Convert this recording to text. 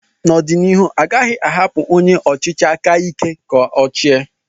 N'ọdịnihu, a gaghị ahapụ onye ọchịchị aka ike ka ochia.